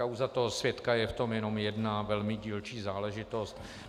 Kauza toho svědka je v tom jenom jednou velmi dílčí záležitostí.